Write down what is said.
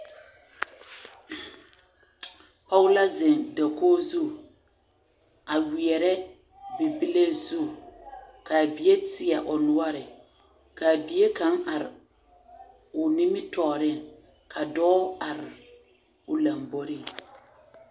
Pɔge la zeŋ dakogi zu a weɛrɛ bibile zu k,a bie teɛ o noɔre k,a bie kaŋ are o nimitɔɔreŋ ka dɔɔ are o lamboriŋ.